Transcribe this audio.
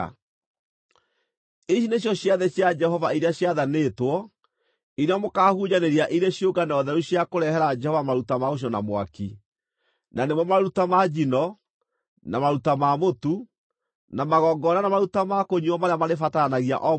(“ ‘Ici nĩcio ciathĩ cia Jehova iria ciathanĩtwo, iria mũkaahunjanĩria irĩ ciũngano theru cia kũrehere Jehova maruta ma gũcinwo na mwaki, na nĩmo maruta ma njino, na maruta ma mũtu, na magongona na maruta ma kũnyuuo marĩa marĩbataranagia o mũthenya.